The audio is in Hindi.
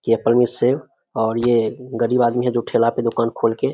की ऐपल मिन्स सेब और ये गरीब आदमी है जो ठेला पे दुकान खोल के --